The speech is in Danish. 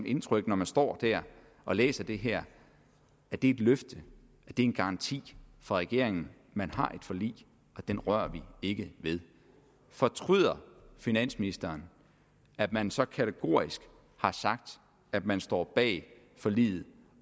indtryk når man står og læser det her at det er et løfte at det er en garanti fra regeringen man har et forlig og det rører vi ikke ved fortryder finansministeren at man så kategorisk har sagt at man står bag forliget